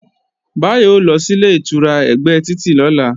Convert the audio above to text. Báyọ̀ ó lọ sílé ìtura ẹ̀gbẹ́ títì lọ́la